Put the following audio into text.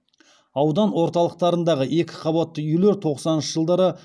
аудан орталықтарындағы екі қабатты үйлер тоқсаныншы жылдары